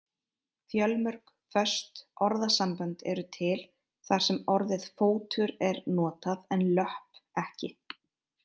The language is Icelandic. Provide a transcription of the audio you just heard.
Fjölmörg föst orðasambönd eru til þar sem orðið fótur er notað en löpp ekki.